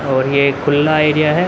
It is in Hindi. और ये खुल्ला एरिया है।